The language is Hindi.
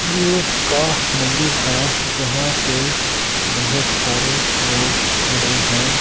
जियोस का मंदिर है जहां पे बहोत सारे लोग खड़े हैं।